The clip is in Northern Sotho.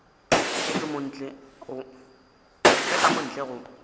ge ka mo ntle go